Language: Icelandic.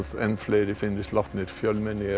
fleiri finnist látnir fjölmenni